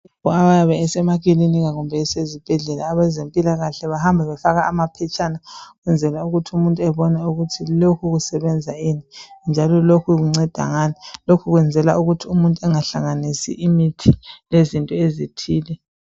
Abayabe besemakilinika kumbe besezibhedlela abezempilakahle bahamba befaka amaphetshana ukwenzela ukuthi umuntu ebone ukuthi lokhu kusebenza ini njalo lokhu kunceda ngani. Lokhu kwenzelwa ukuthi umuntu engahlanganisi imithi lezinto ezithile.